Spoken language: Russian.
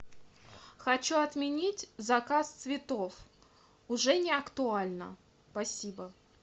хочу отменить заказ цветов уже не актуально спасибо